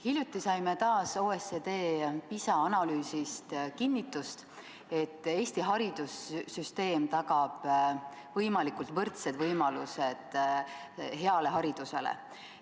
Hiljuti saime taas OECD PISA analüüsist kinnitust, et Eesti haridussüsteem tagab võimalikult võrdsed võimalused hea hariduse saamiseks.